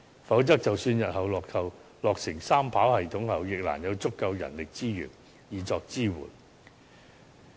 否則，即使日後落成三跑系統，亦難有足夠人力資源作支援。